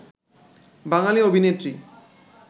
বাঙালি অভিনেত্রী